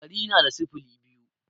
Ɗari na da sifili biyu